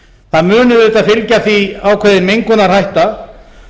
það mun auðvitað fylgja því ákveðin mengunarhætta